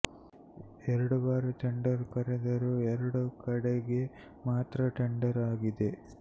ಎರಡು ಬಾರಿ ಟೆಂಡರ್ ಕರೆದರೂ ಎರಡು ಕಡೆಗೆ ಮಾತ್ರ ಟೆಂಡರ್ ಆಗಿದೆ